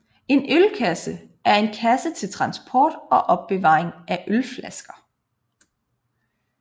En ølkasse er en kasse til transport og opbevaring af ølflasker